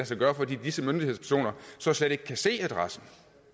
sig gøre fordi disse myndighedspersoner så slet ikke kan se adressen